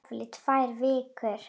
Jafnvel í tvær vikur.